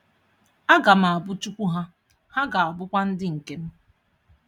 A ga m Abu Chukwu ha, ha ga abukwa ndị nke m.